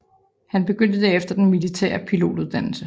Han begyndte derefter den militære pilotuddannelse